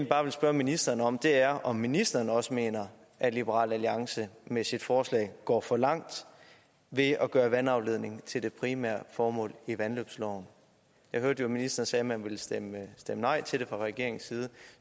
bare ville spørge ministeren om er om ministeren også mener at liberal alliance med sit forslag går for langt ved at gøre vandafledningen til det primære formål i vandløbsloven jeg hørte jo ministeren sagde at man ville stemme nej til det fra regeringens side